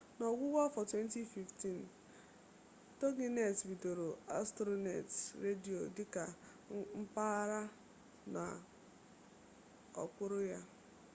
n'ọgwụgwụ afọ 2015 toginet bidoro astronet redio dị ka mpaghara nọ n'okpuru ya